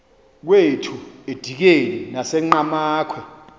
kwethu edikeni nasenqhamakhwe